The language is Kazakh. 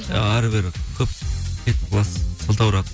ы әрі бері көп кетіп қаласыз сылтауратып